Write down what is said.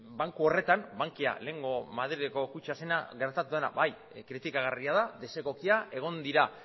banku horretan bankia lehengo madrileko kutxa zena gertatu dena bai kritikagarria da desegokia egon dira